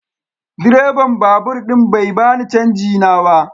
Direban babur din bai bani canji na ba.